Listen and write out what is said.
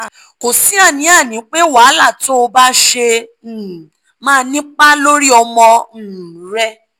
kò sí àní-àní pé wàhálà tó o bá ṣe um máa nípa lórí ọmọ um rẹ